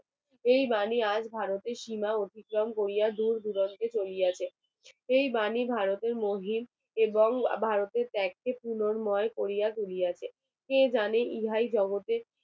এই বাণী আজ ভারতের সীমা অতিক্রম করিয়া দূর দূরান্তে চলিয়াছে এই বাণী ভারতের মহিম এবং ভারতের ত্যাগকে পুনর্ময় করিয়া তুলিয়াছে কে জানে ইহায় জগতের